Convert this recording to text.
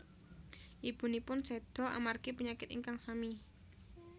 Ibunipun seda amargi penyakit ingkang sami